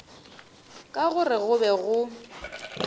ka gore go be go